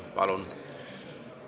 Palun!